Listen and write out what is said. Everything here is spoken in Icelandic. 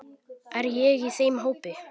Er ég í þeim hópi.